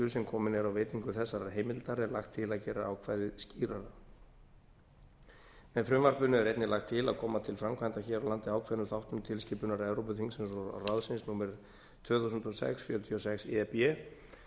sem komin er á veitingu þessarar heimildar er lagt til að gera ákvæðið skýrara með frumvarpinu er einnig lagt til að koma til framkvæmda hér á landi ákveðnum þáttum tilskipunar evrópuþings og ráðsins númer tvö þúsund og sex fjörutíu og sex e b um